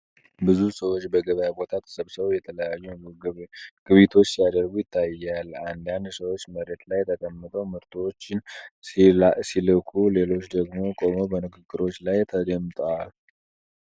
ብዙ ሰዎች በገበያ ቦታ ተሰብስበው የተለያዩ ግብይቶችን ሲያደርጉ ይታያል። አንዳንድ ሰዎች መሬት ላይ ተቀምጠው ምርቶችን ሲለኩ፣ ሌሎች ደግሞ ቆመው በንግግሮች ላይ ተጠምደዋል።